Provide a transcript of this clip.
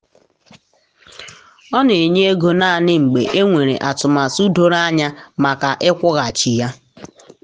ọ na enye ego naanị mgbe e nwere atụmatụ doro anya maka ịkwụghachi ya.